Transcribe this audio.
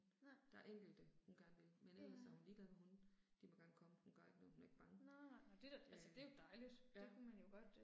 Der er enkelte hun gerne vil, men ellers er hun ligeglad med hunde. De må gerne komme, hun gør ikke noget, hun er ikke bange. Øh ja